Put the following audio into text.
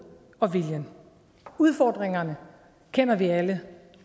og viljen udfordringerne kender vi alle